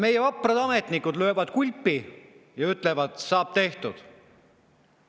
Meie vaprad ametnikud löövad kulpi ja ütlevad: "Saab tehtud!